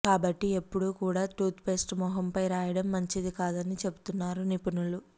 కాబట్టి ఎప్పుడూ కూడా టూత్ పేస్ట్ ముఖంపై రాయడం మంచిది కాదని చెబుతున్నారు నిపుణులు